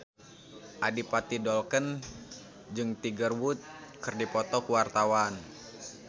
Adipati Dolken jeung Tiger Wood keur dipoto ku wartawan